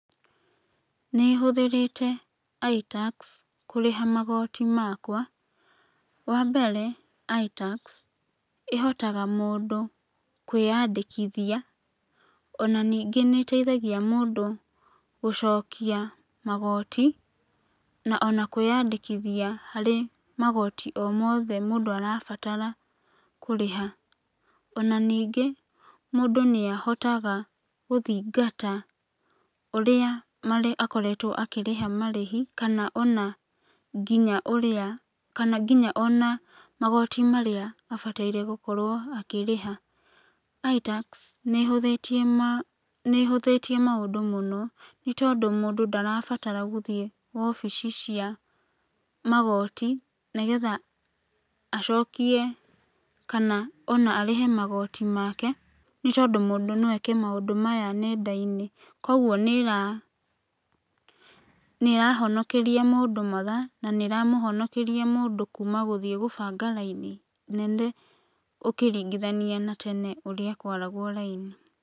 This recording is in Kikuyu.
Nĩ hũthĩrĩte iTax kũrĩha magooti makwa, wa mbere iTax, ĩhotaga mũndũ kwĩyandĩkithia ona ningĩ nĩ ĩteithagia mũndũ gũcokia magooti ona kwĩyandĩkithia harĩ magooti o mothe mũndũ arabatara kũrĩha. Ona ningĩ mũndũ nĩ ahotaga gũthingata ũrĩa akoretwo akĩrĩha marĩhi kana ona nginya ũrĩa magoti marĩa abataire gũkorwo akĩrĩha. iTax nĩ ĩhũthĩtie maũndũ mũno nĩ tondũ mũndũ ndarabatara gũthĩĩ obici cia magooti, nĩgetha acokie kana ona arĩhe magooti make, nĩ tondũ mũndũ no eke maũndũ maya nenda-inĩ. Koguo n ĩrahonokeria mũndũ mathaa na nĩĩramũhonokeria mũndũ kuma gũthiĩ gũbanga raini nene ũkĩringithania na tene ũrĩa kwaragwo raini.